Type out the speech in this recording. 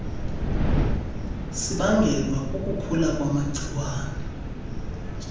sibangelwa kukukhula kwamagciwane